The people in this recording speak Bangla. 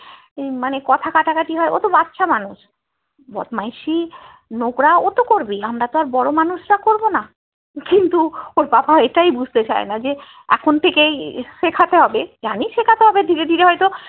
মানে কথা কাটাকাটি হয় ওতো বাচ্চা মানুষ বদমাইশি নোংরা ওতো করবেই আমরা তো আর বড়ো মানুষরা করবো না কিন্তু ওর বাবা এটাই বুঝতে পারেনা যে এখন থেকেই শেখাতে হবে জানি শেখাতে হবে ধীরে ধীরে হয়তো